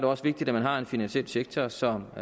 også vigtigt at man har en finansiel sektor som